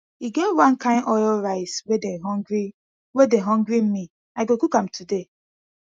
e get wan kin oil rice wey dey hungry wey dey hungry me i go cook am today